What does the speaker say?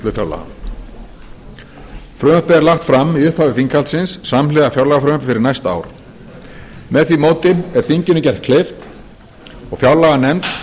afgreiðslu fjárlaga frumvarpið er lagt fram í upphafi þinghaldsins samhliða fjárlagafrumvarpi fyrir næsta ár með því móti er þinginu gert kleift og fjárlaganefnd